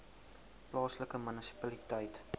plaaslike munisipaliteit